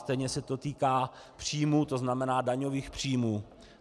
Stejně se to týká příjmů, to znamená daňových příjmů.